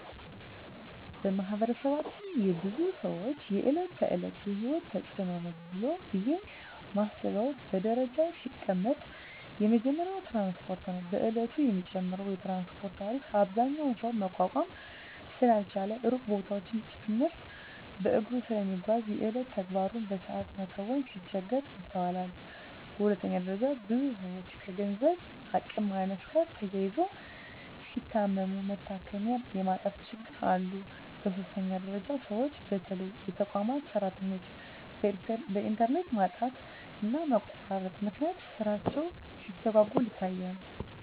በማህበረሰባችን የብዙ ሰወች የእለት ተእለት የሂወት ተጽኖ ነው ብየ ማስበው በደረጃ ሲቀመጥ የመጀመሪያው ትራንስፓርት ነው። በየእለቱ የሚጨምረው የትራንስፓርት ታሪፍ አብዛኛው ሰው መቋቋም ስላልቻለ ሩቅ ቦታወችን ጭምርት በእግሩ ስለሚጓዝ የየእለት ተግባሩን በሰአት መከወን ሲቸገር ይስተዋላል። በሁለተኛ ደረጃ ብዙ ሰወች ከገንዘብ አቅም ማነስ ጋር ተያይዞ ሲታመሙ መታከሚያ የማጣት ችግሮች አሉ። በሶስተኛ ደረጃ ሰወች በተለይ የተቋማት ሰራተኞች በእንተርኔት ማጣትና መቆራረጥ ምክንያት ስራቸው ሲስተጓጎል ይታያል።